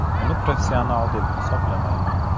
Uni professional deb hisoblamayman.